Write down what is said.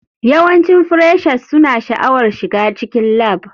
Yawancin freshers suna sha'awar shiga cikin lab.